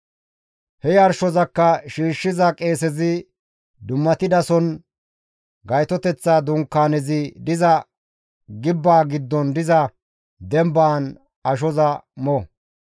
He yarshozakka shiishshiza qeesezi dummatidason Gaytoteththa Dunkaanezi diza gibbeza giddon diza dembaan ashoza mo.